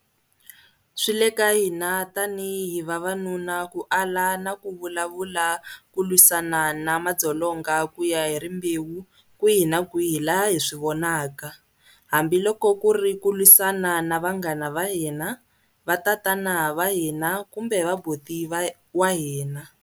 Swi le ka hina tanihi vavanuna ku ala na ku vulavula ku lwisana na madzolonga ku ya hi rimbewu kwihi na kwihi laha hi swi vonaka, hambi loko ku ri ku lwisana na vanghana va hina, vatatana va hina kumbe vaboti wa hina.